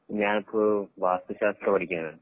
ഞാൻ ഇപ്പൊ വാസ്തുശാസ്ത്രം പഠിക്കുവാണ്